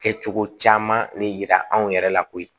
Kɛcogo caman le yira anw yɛrɛ la koyi